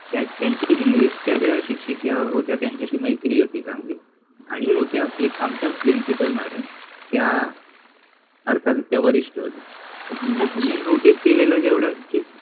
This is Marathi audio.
त्यात त्यांचि इंग्लिश ज्या शिक्षिका होत्या त्यांच्याशि मैत्रि होति चांगलि आणि होत्या एक आमच्या प्रिंसिपल मॅडम त्या अर्थातच त्या वरिष्ठ होत्या. मि नोटिस केलेल जेवढ